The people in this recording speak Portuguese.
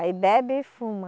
Aí bebe e fuma.